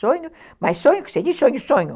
Sonho, mas sonho, você disse sonho, sonho.